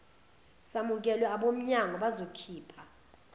samukelwe abomnyango bazokhipha